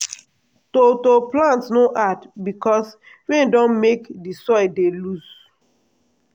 to to plant no hard because rain don make di soil dey loose.